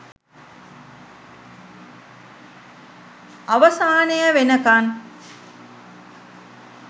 අවසානය වෙනකන්